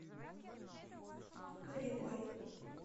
горевой